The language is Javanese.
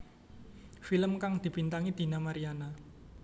Film kang dibintangi Dina Mariana